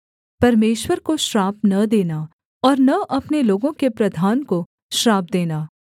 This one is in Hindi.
परमेश्वर को श्राप न देना और न अपने लोगों के प्रधान को श्राप देना